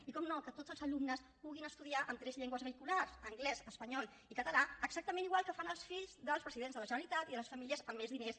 i naturalment que tots els alumnes puguin estudiar en tres llengües vehiculars anglès espanyol i català exactament igual que fan els fills dels presidents de la generalitat i de les famílies amb més diners